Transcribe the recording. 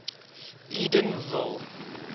edenville